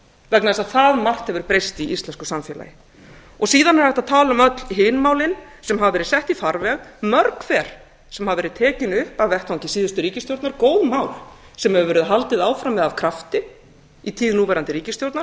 vegna þess að það margt hefur breyst í íslensku samfélagi síðan er hægt að tala um öll hin málin sem hafa verið sett í farveg mörg hver sem hafa verið tekin upp af vettvangi síðustu ríkisstjórnar góð mál sem hefur verið haldið áfram af krafti í tíð núverandi ríkisstjórnar